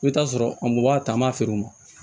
I bɛ t'a sɔrɔ a m b'a ta an b'a feere o ma